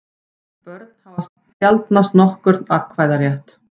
Börn hafa sjaldnast nokkurn atkvæðarétt.